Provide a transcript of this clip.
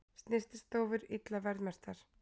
Snyrtistofur illa verðmerktar